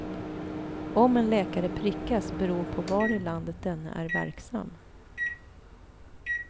Om en läkare prickas beror på var i landet denne är verksam.